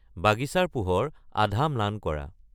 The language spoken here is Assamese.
বাগিচাৰ পোহৰ আধা ম্লান কৰা